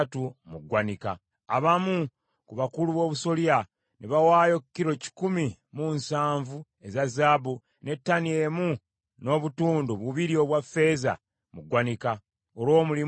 Abamu ku bakulu b’obusolya ne baawaayo kilo kikumi mu nsanvu eza zaabu, ne ttani emu n’obutundu bubiri obwa ffeeza mu ggwanika, olw’omulimu ogwali gukolebwa.